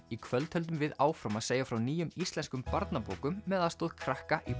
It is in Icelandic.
í kvöld höldum við áfram að segja frá nýjum íslenskum barnabókum með aðstoð krakka í